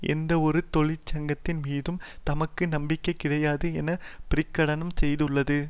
எந்தவொரு தொழிற்சங்கத்தின் மீதும் தமக்கு நம்பிக்கை கிடையாது என பிரகடனம் செய்துள்ளது